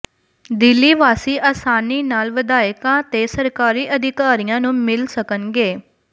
ਦਿੱਲੀ ਵਾਸੀ ਆਸਾਨੀ ਨਾਲ ਵਿਧਾਇਕਾਂ ਤੇ ਸਰਕਾਰੀ ਅਧਿਕਾਰੀਆਂ ਨੂੰ ਮਿਲ ਸਕਣਗੇ